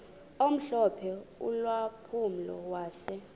omhlophe ulampulo wase